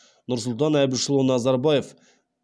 нұрсұлтан әбішұлы назарбаев